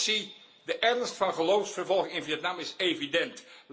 Commissie, de ernst van geloofsvervolging in Vietnam is evident.